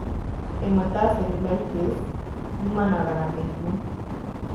Ĩmwe, ta cellulitis, iumanaga na mũrimũ.